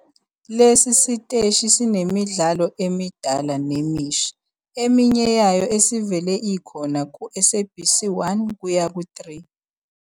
Lesi siteshi sinemidlalo emidala nemisha eminye yayo esivele ikhona ku-SABC 1-3.